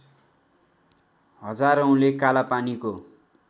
हजारौँले कालापानीको